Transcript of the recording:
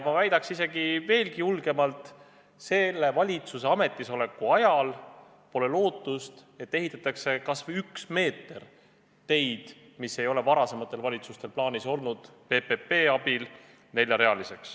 Ma väidaks isegi veel julgemalt: selle valitsuse ametisoleku ajal pole lootustki, et neljarealiseks ehitataks kas või üks meeter teid, mis poleks juba varasematel valitsustel plaanis olnud.